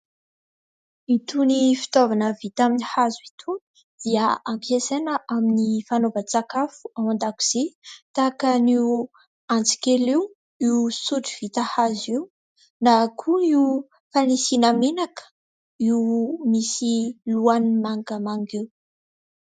Itony fitaovana vita amin'ny hazo itony, dia ampiasana amin'ny fanaova-tsakafo, (ao andakozia). Tahakan'io, antsikely io ; io sotro vita hazo io, na koa fanisina menaka, (io misy lohany mangamanga io).